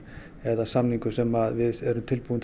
eða samningur sem við erum tilbúin